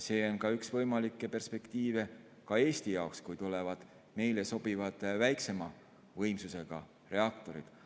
See on üks võimalikke perspektiive ka Eesti jaoks, kui tulevad meile sobivad väiksema võimsusega reaktorid.